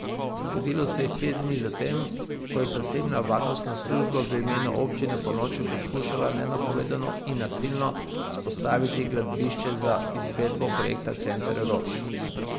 Zgodilo se je pet dni za tem, ko je zasebna varnostna služba v imenu občine ponoči poskušala nenapovedano in nasilno vzpostaviti gradbišče za izvedbo projekta Center Rog.